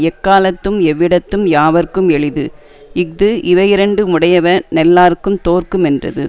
எக்காலத்தும் எவ்விடத்தும் யாவர்க்கும் எளிது இஃது இவையிரண்டு முடையவ னெல்லார்க்குந் தோற்கு மென்றது